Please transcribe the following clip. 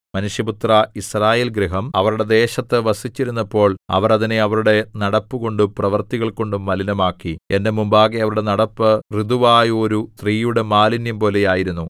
മനുഷ്യപുത്രാ യിസ്രായേൽഗൃഹം അവരുടെ ദേശത്തു വസിച്ചിരുന്നപ്പോൾ അവർ അതിനെ അവരുടെ നടപ്പുകൊണ്ടും പ്രവൃത്തികൾകൊണ്ടും മലിനമാക്കി എന്റെ മുമ്പാകെ അവരുടെ നടപ്പ് ഋതുവായോരു സ്ത്രീയുടെ മാലിന്യംപോലെ ആയിരുന്നു